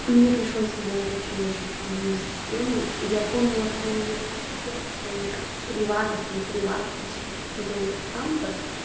мне пришлось создавать вообще очень сложную систему я помнила пароли от всех своих приватов не приватов вообще каких-то левых аккаунтов